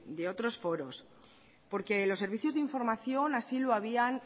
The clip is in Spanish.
de otros foros porque los servicios de información así lo habían